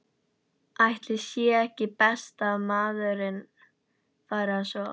Ætli sé ekki best að maður fari að sofa.